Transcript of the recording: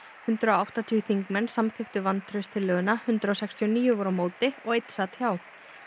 hundrað og áttatíu þingmenn samþykktu vantrauststillöguna hundrað sextíu og níu voru á móti og einn sat hjá